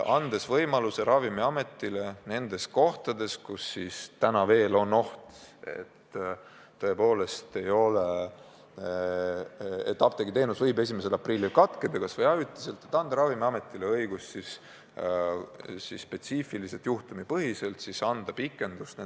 See annaks Ravimiametile õiguse nendes kohtades, kus täna on oht, et tõepoolest apteegiteenus võib 1. aprillil vähemalt ajutiselt katkeda, spetsiifiliselt, juhtumipõhiselt anda ajapikendust.